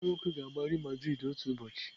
Nwanne m nwoke ga-agba Real Madrid otu ụbọchị.